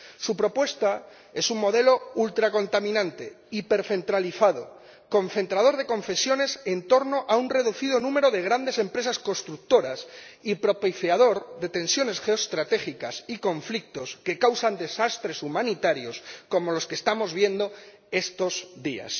Su propuesta es un modelo ultracontaminante, hipercentralizado, concentrador de concesiones en torno a un reducido número de grandes empresas constructoras y propiciador de tensiones geoestratégicas y conflictos que causan desastres humanitarios, como los que estamos viendo estos días.